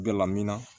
Gala minna